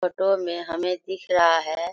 Photo मे हमे दिख रहा है।